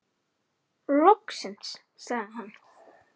Loksins sagði hann.